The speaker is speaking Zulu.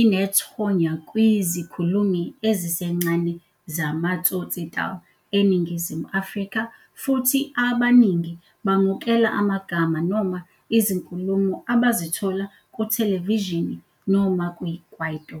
inethonya kwizikhulumi ezisencane zama-tsotsitaal eNingizimu Afrika, futhi abaningi bamukela amagama noma izinkulumo abazithola kuthelevishini noma kwi-kwaito.